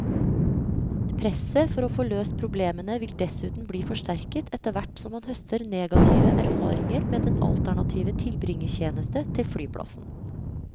Presset for å få løst problemene vil dessuten bli forsterket etterhvert som man høster negative erfaringer med den alternative tilbringertjeneste til flyplassen.